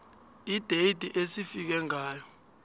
ideyithi esifike ngayo